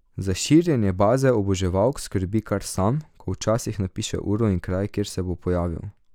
Za širjenje baze oboževalk skrbi kar sam, ko včasih napiše uro in kraj, kje se bo pojavil.